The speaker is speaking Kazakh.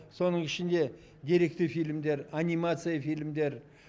соның ішінде деректі фильмдер анимация фильмдер